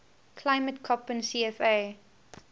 climate koppen cfa